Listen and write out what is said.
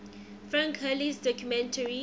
frank hurley's documentary